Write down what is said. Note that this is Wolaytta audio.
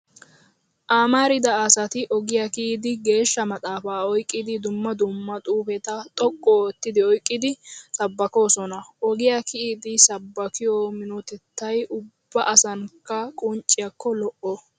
Amarida asati ogiyaa kiyidi geeshsha maxaafaa oyqqidi, dumma dumma xuufeta xoqqu oottidi oyqqidi sabbakkoosona. Ogiyaa kiyidi sabbakkiyoo minotettay ubba asankka qoncciyaakko lo'o.